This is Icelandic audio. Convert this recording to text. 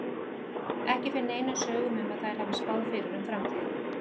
Ekki fer neinum sögum um að þær hafi spáð fyrir um framtíðina.